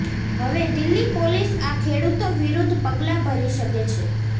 હવે દિલ્હી પોલીસ આ ખેડૂતો વિરૂદ્ધ પગલા ભરી શકે છે